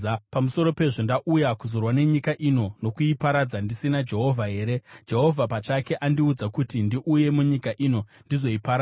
Pamusoro pezvo, ndauya kuzorwa nenyika ino nokuiparadza ndisina Jehovha here? Jehovha pachake andiudza kuti ndiuye munyika ino ndizoiparadza.’ ”